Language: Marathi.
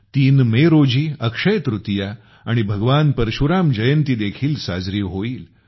३ मे ला अक्षय तृतीया आणि भगवान परशुराम जयंती देखील साजरी होईल